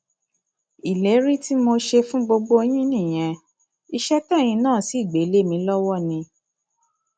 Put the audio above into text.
ìlérí tí mo ṣe fún gbogbo yín nìyẹn iṣẹ tẹyin náà sì gbé lé mi lọwọ ni